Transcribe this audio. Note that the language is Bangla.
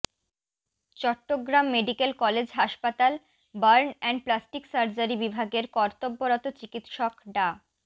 চট্টগ্রাম মেডিকেল কলেজ হাসপাতাল বার্ন অ্যান্ড প্লাস্টিক সার্জারি বিভাগের কর্তব্যরত চিকিৎসক ডা